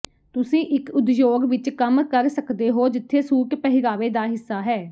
ਤੁਸੀਂ ਇੱਕ ਉਦਯੋਗ ਵਿੱਚ ਕੰਮ ਕਰ ਸਕਦੇ ਹੋ ਜਿੱਥੇ ਸੂਟ ਪਹਿਰਾਵੇ ਦਾ ਹਿੱਸਾ ਹੈ